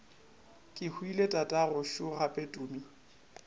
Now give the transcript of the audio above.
kehwile tatagwe šo gape tumi